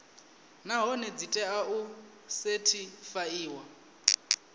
nahone dzi tea u sethifaiwa